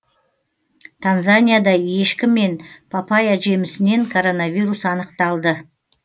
танзанияда ешкі мен папайя жемісінен коронавирус анықталды